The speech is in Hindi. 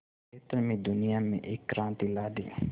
क्षेत्र में दुनिया में एक क्रांति ला दी